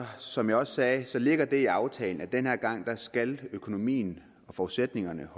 som jeg også sagde ligger det i aftalen at den her gang skal økonomien og forudsætningerne